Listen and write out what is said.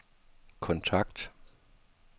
kontakt